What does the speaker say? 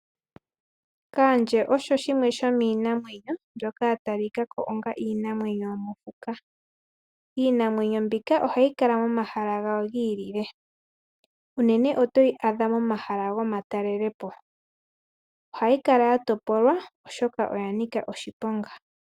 Kandje osho shwime shomiinanmwenyo mbyoka ya talikakako onga iinamwenyo yomo fuka oto yi adha